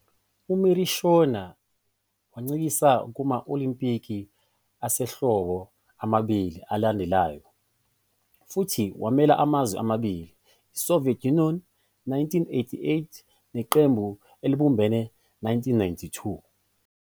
UMiroshina wancintisana kuma- Olimpiki Asehlobo amabili alandelanayo, futhi wamela amazwe amabili- iSoviet Union,1988, neQembu Elibumbene,1992.